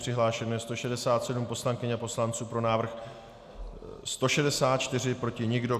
Přihlášeno je 167 poslankyň a poslanců, pro návrh 164, proti nikdo.